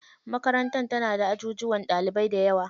Makarantar tana da ajujuwan ɗalibai dayawa.